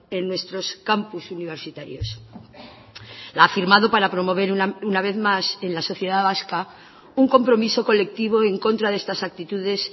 en nuestros campus universitarios la ha firmado para promover una vez más en la sociedad vasca un compromiso colectivo en contra de estas actitudes